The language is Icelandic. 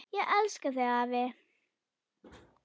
Ég elska þig afi.